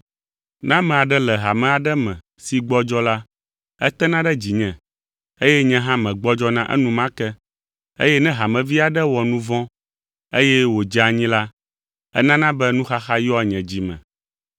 Ne ame aɖe le hame aɖe me si gbɔdzɔ la, etena ɖe dzinye, eye nye hã megbɔdzɔna enumake eye ne hamevi aɖe wɔ nu vɔ̃ eye wòdze anyi la, enana be nuxaxa yɔa nye dzi me.